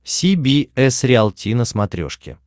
си би эс риалти на смотрешке